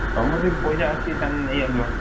ତମର ଯଦି ପଇସା ଅଛି ତାହେନେ ନେଇଆସ।